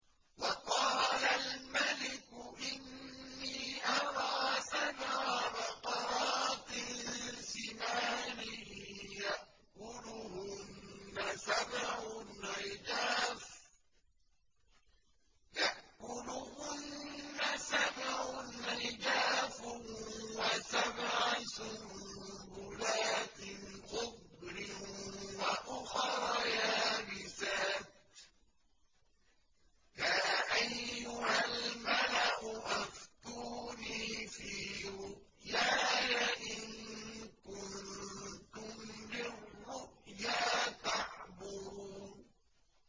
وَقَالَ الْمَلِكُ إِنِّي أَرَىٰ سَبْعَ بَقَرَاتٍ سِمَانٍ يَأْكُلُهُنَّ سَبْعٌ عِجَافٌ وَسَبْعَ سُنبُلَاتٍ خُضْرٍ وَأُخَرَ يَابِسَاتٍ ۖ يَا أَيُّهَا الْمَلَأُ أَفْتُونِي فِي رُؤْيَايَ إِن كُنتُمْ لِلرُّؤْيَا تَعْبُرُونَ